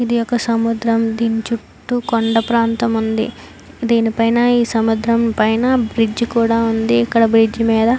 ఇదొక సముద్రం దీని చుట్టూ కొండా ప్రాంతం ఉంది దీనిపైనా ఈ సముద్రం పైన బ్రిడ్జి కూడా ఉంది ఇక్కడ బ్రిడ్జి మీద --